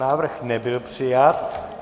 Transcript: Návrh nebyl přijat.